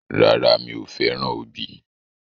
Rárá, mi ò fẹ́ràn obì.